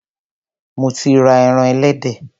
Mo ti ra eran ẹlẹdẹ.